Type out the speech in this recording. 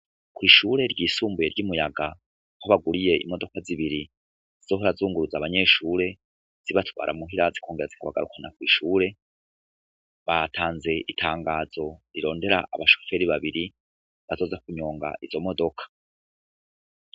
Kw'ishure ryisumbuye ry'i Muyaga, aho baguriye imodoka zibiri zizohora zunguruza abanyeshure zibatwara muhira zikongera zikabagarukana kw'ishure, batanze itangazo rirondera abashoferi babiri bazoza kunyonga izo modoka.